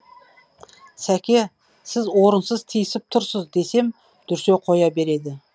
сәке сіз орынсыз тиісіп тұрсыз десем дүрсе қоя береді